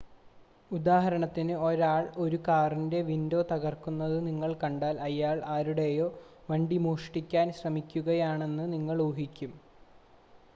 ഉദാഹരണത്തിന് ഒരാൾ ഒരു കാറിൻ്റെ വിൻഡോ തകർക്കുന്നത് നിങ്ങൾ കണ്ടാൽ അയാൾ ആരുടേയോ വണ്ടി മോഷ്ടിക്കാൻ ശ്രമിക്കുകയാണെന്ന് നിങ്ങൾ ഊഹിക്കും